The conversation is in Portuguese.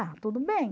Ah, tudo bem.